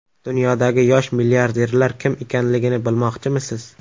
Dunyodagi yosh milliarderlar kim ekanligini bilmoqchimisiz?